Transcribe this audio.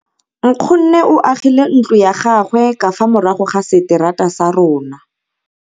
Nkgonne o agile ntlo ya gagwe ka fa morago ga seterata sa rona.